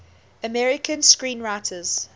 american screenwriters